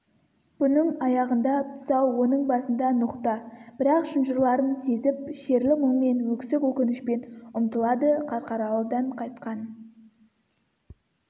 бұның аяғында тұсау оның басында ноқта бірақ шынжырларын сезіп шерлі мұңмен өксік өкінішпен ұмтылады қарқаралыдан қайтқан